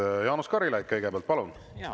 Kõigepealt Jaanus Karilaid, palun!